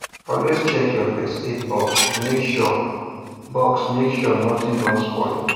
always check your first aid box make sure box make sure nothing don spoil